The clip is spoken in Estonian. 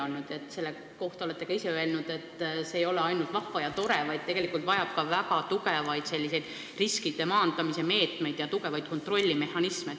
Olete ka ise selle kohta öelnud, et see ei ole ainult vahva ja tore, vaid vajab ka väga tugevaid riskide maandamise meetmeid ja kontrollimehhanisme.